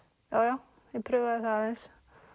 já já prufaði það aðeins